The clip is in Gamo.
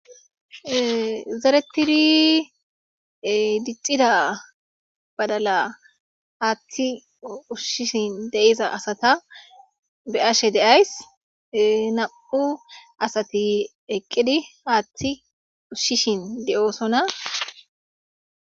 Zeretidi diccida badala haaththe ushishin de'iza asata be'ashe de'ays; nam'u asati eqqidi haaththi ushishin de'osona.